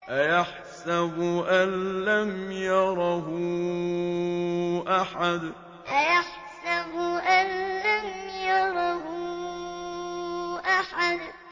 أَيَحْسَبُ أَن لَّمْ يَرَهُ أَحَدٌ أَيَحْسَبُ أَن لَّمْ يَرَهُ أَحَدٌ